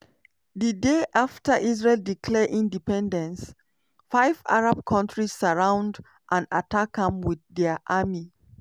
di day afta israel declare independence five arab kontris surround and attack am wit dia army.